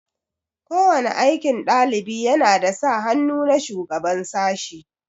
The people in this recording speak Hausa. Ko wani aikin ɗalibi yana da sa hannu na shugaban sashi.